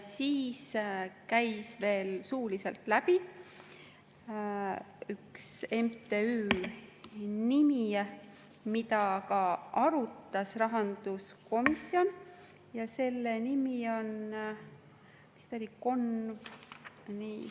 Veel käis suuliselt läbi üks MTÜ, mida ka rahanduskomisjon arutas, selle nimi vist oli …